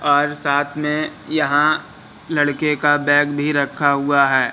और साथ में यहां लड़के का बैग भी रखा हुआ है।